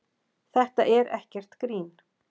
Þetta er ekkert grín